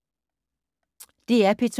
DR P2